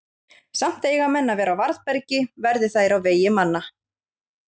Samt eiga menn að vera á varðbergi, verði þær á vegi manna.